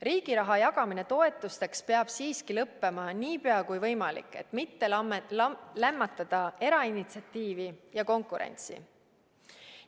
Riigi raha jagamine toetusteks peab siiski lõppema nii pea kui võimalik, et mitte lämmatada erainitsiatiivi ja konkurentsi.